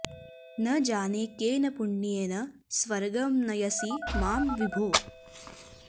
न जाने केन पुण्येन स्वर्गं नयसि मां विभो